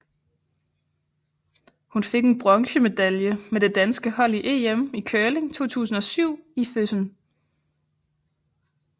Hun fik en bronze medalje med det danske hold i EM i curling 2007 i Füssen